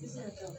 Sisan